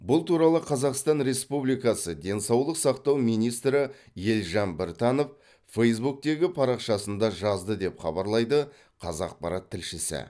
бұл туралы қазақстан республиксы денсаулық сақтау министрі елжан біртанов фэйсбуктегі парақшасында жазды деп хабарлайды қазақпарат тілшісі